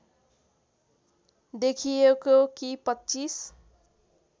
देखिएको कि २५